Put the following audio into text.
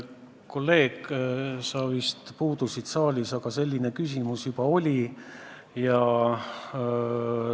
Kolleeg, sa vist puudusid saalist, kui selline küsimus juba esitati.